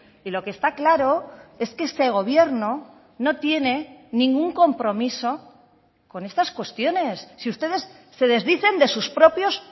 y lo que está claro es que este gobierno no tiene ningún compromiso con estas cuestiones si ustedes se desdicen de sus propios